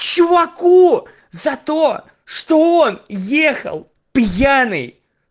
чуваку за то что он ехал пьяный